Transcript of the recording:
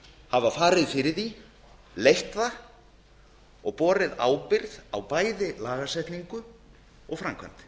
hafa farið fyrir því leitt það og borið ábyrgð á bæði lagasetningu og framkvæmd